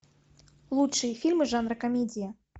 лучшие фильмы жанра комедия